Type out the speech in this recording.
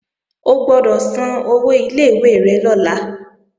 O gbọ́dọ̀ san owó ilé ìwé rẹ lọ́la